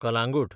Calangute